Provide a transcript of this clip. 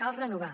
cal renovar